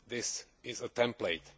This is a template.